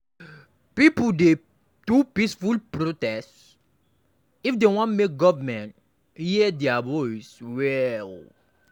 Pipo dey do peaceful protest if dem wan make government hear dia voice well.